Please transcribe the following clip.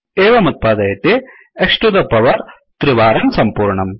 एवमुत्पादयति X to the power 3 वारं सम्पूर्णम्